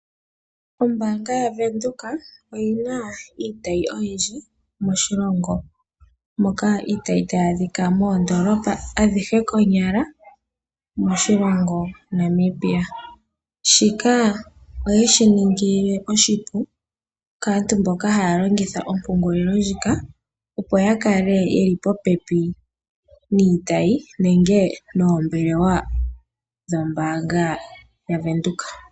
Ombaanga yaVenduka oyi na iitayi oyindji moshilongo. Moka iitayi tayi adhika moondolopa adhihe konyala moshilongo Namibia. Shika oyeshi ningile oshipu kaantu mboka haya longitha ompungulilo ndjika opo ya kale yeli popepi niitayi nenge noombelewa dhombaanga yaVenduka.